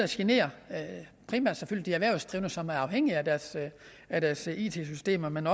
generer de erhvervsdrivende som er afhængige af deres af deres it systemer men